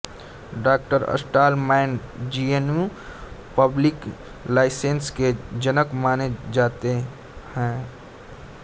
डॉ Stallman GNU public licence के जनक माने जाते है